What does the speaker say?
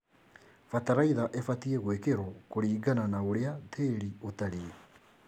Bataraitha ĩbatie gũĩkĩrio kũringana na ũrĩa tĩri ũtarĩe.